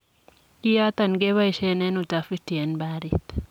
Kiyoton keboisien en utafiti en barit.